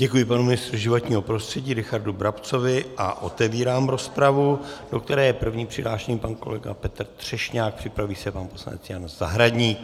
Děkuji panu ministru životního prostředí Richardu Brabcovi a otevírám rozpravu, do které je první přihlášený pan kolega Petr Třešňák, připraví se pan poslanec Jan Zahradník.